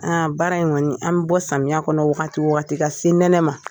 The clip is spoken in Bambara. Aa baara in kɔni an bɛ bɔ samiyɛ kɔnɔ wagati o wagati ka se nɛnɛ ma